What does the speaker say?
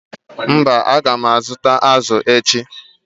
mba, a ga m azụta azụ̀ echi.